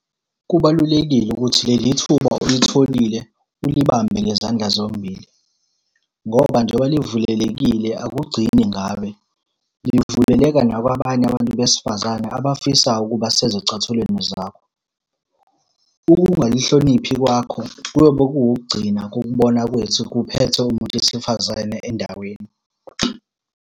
Kubalulekile ukuthi leli thuba olitholile ulibambe ngezandla zombili, ngoba njengoba livulelekile akugcini ngawe. Lingavuleleka nakwabanye abantu besifazane abafisayo ukuba sezicathulweni zakho. Ukungalihloniphi kwakho kuyobe kukugcina ukubona kwethu kuphethe umuntu wesifazane endaweni.